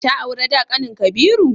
Ta aura da kanin Kabiru?